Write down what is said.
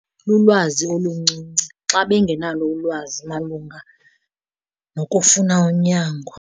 Lulwazi oluncinci, xa bengenalo ulwazi malunga nokufuna unyango.